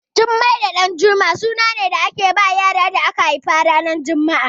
Jummai da Ɗanjuma suna ne da ake bawa yaran da aka haifa ranar juma'a